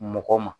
Mɔgɔ ma